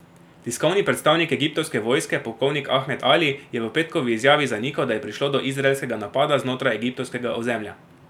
Tiskovni predstavnik egiptovske vojske, polkovnik Ahmed Ali, je v petkovi izjavi zanikal, da je prišlo do izraelskega napada znotraj egiptovskega ozemlja.